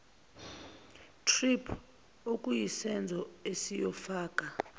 thrip okuyisenzo esiyofaka